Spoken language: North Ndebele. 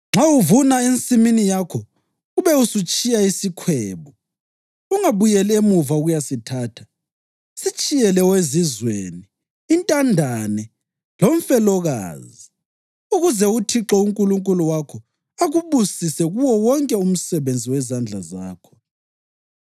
Nxa uvuna ensimini yakho ube usutshiya isikhwebu, ungabuyeli emuva ukuyasithatha, sitshiyele owezizweni, intandane, lomfelokazi, ukuze uThixo uNkulunkulu wakho akubusise kuwo wonke umsebenzi wezandla zakho.